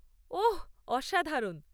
ওহ, অসাধারণ।